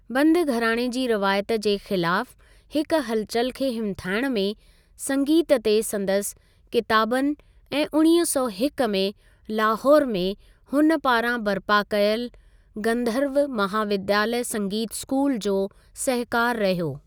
बंदु घराणे जी रवायत जे ख़िलाफ़ु हिकु हलचल खे हिमथाइण में संगीत ते संदसि किताबनि ऐं उणिवीह सौ हिकु में लाहौर में हुन पारां बरिपा कयलु गंधर्व महाविद्यालय संगीत स्कूल, जो सहिकारु रहियो।